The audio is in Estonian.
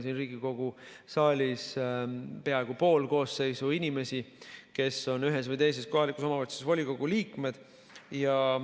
Siin Riigikogu saalis on peaaegu pool koosseisust sellised inimesed, kes on ühes või teises kohalikus omavalitsuses volikogu liikmed.